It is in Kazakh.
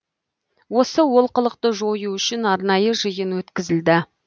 осы олқылықты жою үшін арнайы жиын өткізілді